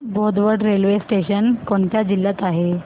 Bodwad railway station कोणत्या जिल्ह्यात आहे